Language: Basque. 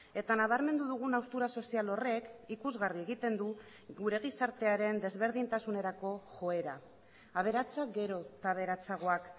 eta nabarmendu dugun haustura sozial horrek ikusgarri egiten du gure gizartearen desberdintasunerako joera aberatsak gero eta aberatsagoak